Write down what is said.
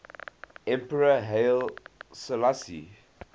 emperor haile selassie